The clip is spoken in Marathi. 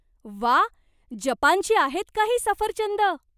व्वा! जपानची आहेत का ही सफरचंदं?